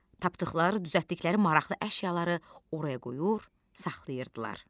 Tapdıqları, düzəltdikləri maraqlı əşyaları oraya qoyur, saxlayırdılar.